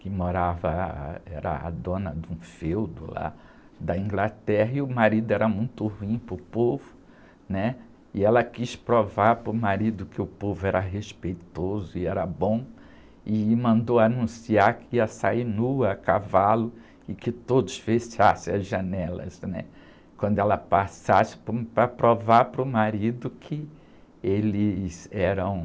Que morava, era a dona de um feudo lá da Inglaterra, e o marido era muito ruim para o povo, né? E ela quis provar para o marido que o povo era respeitoso e era bom, e mandou anunciar que ia sair nua a cavalo e que todos fechassem as janelas, né? Quando ela passasse para provar para o marido que eles eram...